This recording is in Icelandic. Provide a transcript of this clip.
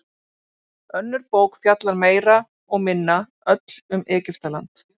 Önnur bók fjallar meira og minna öll um Egyptaland.